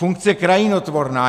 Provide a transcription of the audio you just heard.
Funkce krajinotvorná.